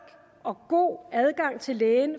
og god adgang til lægen